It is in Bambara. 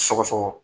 Sɔgɔsɔgɔ